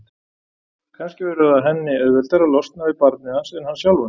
Kannski verður það henni auðveldara að losna við barnið hans en hann sjálfan.